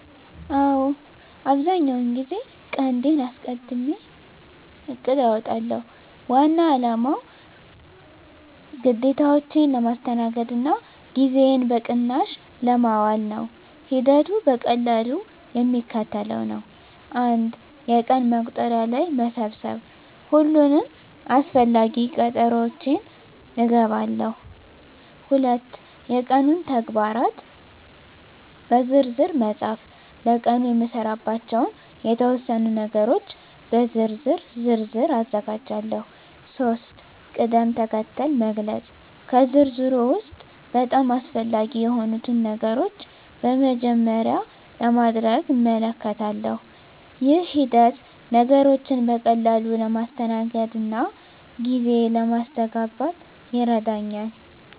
አዎ፣ አብዛኛውን ጊዜ ቀንዴን አስቀድሜ እቅድ አውጣለሁ። ዋና አላማው ግዴታዎቼን ለማስተናገድ እና ጊዜዬን በቅናሽ ለማዋል ነው። ሂደቱ በቀላሉ የሚከተለው ነው፦ 1. የቀን መቁጠሪያ ላይ መሰብሰብ ሁሉንም አስፈላጊ ቀጠሮዎቼን እገባለሁ። 2. የቀኑን ተግባራት በዝርዝር መፃፍ ለቀኑ የምሰራባቸውን የተወሰኑ ነገሮች በዝርዝር ዝርዝር አዘጋጃለሁ። 3. ቅድም-ተከተል መግለጽ ከዝርዝሩ ውስጥ በጣም አስፈላጊ የሆኑትን ነገሮች በመጀመሪያ ለማድረግ እመልከታለሁ። ይህ ሂደት ነገሮችን በቀላሉ ለማስተናገድ እና ጊዜ ለማስተጋበን ይረዳኛል።